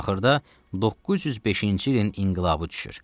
Axırda 905-ci ilin inqilabı düşür.